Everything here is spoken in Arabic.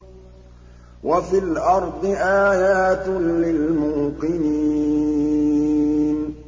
وَفِي الْأَرْضِ آيَاتٌ لِّلْمُوقِنِينَ